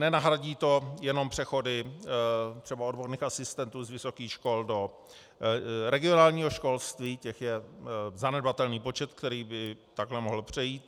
Nenahradí to jenom přechody třeba odborných asistentů z vysokých škol do regionálního školství, těch je zanedbatelný počet, který by takhle mohl přejít.